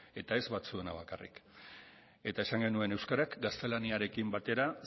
eta ez batzuena bakarrik eta esan genuen euskarak gaztelaniarekin batera